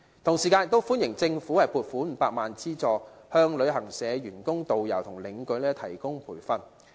同時，我亦歡迎政府撥款500萬元資助，向旅行社員工、導遊和領隊提供培訓。